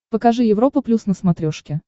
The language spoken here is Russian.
покажи европа плюс на смотрешке